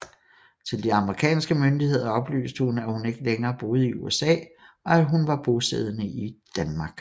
Til de amerikanske myndigheder oplyste hun at hun ikke længere boede i USA og at hun var bosiddende i Danmark